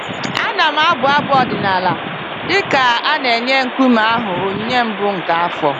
A na-abụ abụ ọdịnala dịka a na-enye nkume ahụ onyinye mbụ nke afọ.